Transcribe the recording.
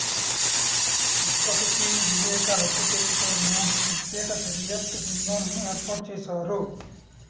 ఇప్పటికి వివేకా హత్య కేసుపై మూడు ప్రత్యేక దర్యాప్తు బృందాలను ఏర్పాటు చేశారు